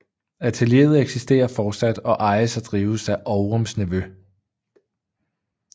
Atelieret eksisterer fortsat og ejes og drives af Ovrums nevø